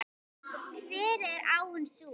Hver er áin sú?